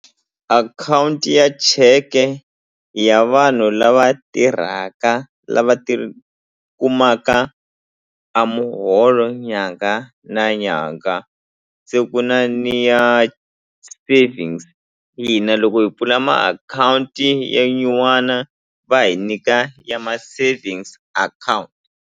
Akhawunti ya cheke ya vanhu lava tirhaka lava ti kumaka a muholo nyanga na nyanga se ku na ni ya savings hina loko hi pfula makhawunti ya nyuwana va hi nyika ya ma savings account.